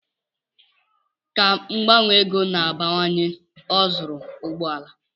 Ka mgbanwe ego na-abawanye, ọ zụrụ ụgbọala.